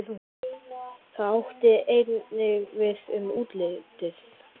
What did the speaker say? Það átti einnig við um útlitið.